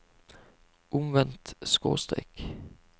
omvendt skråstrek